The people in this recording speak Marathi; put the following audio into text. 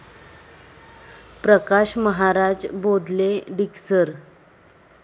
प्रकाश महाराज बोधले, डिकसळ